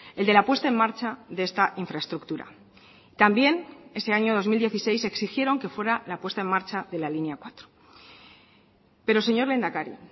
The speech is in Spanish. el de la puesta en marcha de esta infraestructura también ese año dos mil dieciséis exigieron que fuera la puesta en marcha de la línea cuatro pero señor lehendakari